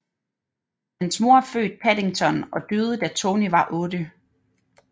Hans mor er født Paddington og døde da Tony var 8